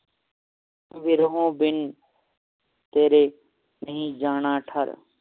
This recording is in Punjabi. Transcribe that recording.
ਵਿਰਹੋ ਬਿਨ ਤੇਰੇ ਨਹੀਂ ਜਾਣਾ ਠਰ